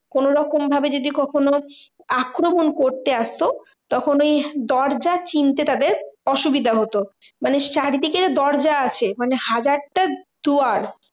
কোনোরকম ভাবে যদি কখনো আক্রমণ করতে আসতো? তখন ওই দরজা চিনতে টা বেশ অসুবিধা হতো। মানে চারিদিকে যে দরজা আছে মানে হাজারটা দুয়ার